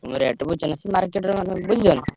Rate ବୁଝିଛନା ସେ market ରେ ମାନେ ବୁଝୁଛନା।